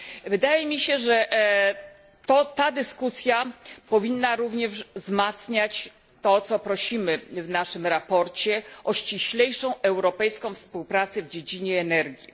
Wydaje mi się, że ta dyskusja powinna również wzmacniać to, o co prosimy w naszym sprawozdaniu ściślejszą, europejską współpracę w dziedzinie energii.